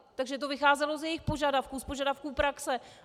Takže to vycházelo z jejich požadavků, z požadavků praxe.